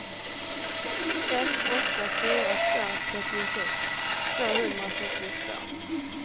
ett åtta fyra två trettiosex tvåhundrasjuttiotvå